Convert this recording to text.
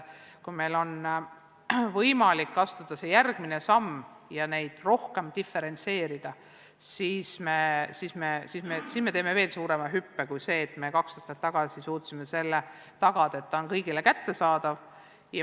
Kui meil on võimalik astuda järgmine samm ja neid rohkem diferentseerida, siis teeksime veel suurema hüppe kui see, et suutsime kaks aastat tagasi tagada, et õppevara on kõigile kättesaadav.